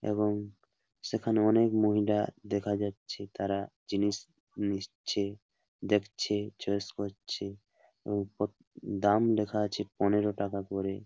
এবং সেখানে অনেক মহিলা দেখা যাচ্ছে। তারা জিনিস নিচ্ছে দেখছে চয়েস করছে এবং পত দাম লেখা আছে পনেরো টাকা করে।